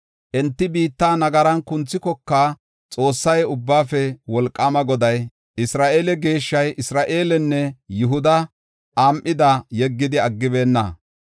Enti biitta nagaran kunthikoka, Xoossay, Ubbaafe Wolqaama Goday, Isra7eele Geeshshay, Isra7eelenne Yihuda am7ida yeggidi aggibeenna.